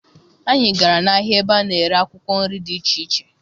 Anyị gara n'ahịa ebe a na-ere akwụkwọ nri dị iche iche